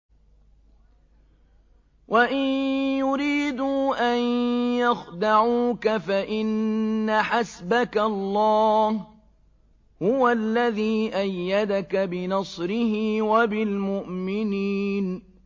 وَإِن يُرِيدُوا أَن يَخْدَعُوكَ فَإِنَّ حَسْبَكَ اللَّهُ ۚ هُوَ الَّذِي أَيَّدَكَ بِنَصْرِهِ وَبِالْمُؤْمِنِينَ